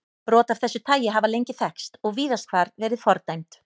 Brot af þessu tagi hafa lengi þekkst og víðast hvar verið fordæmd.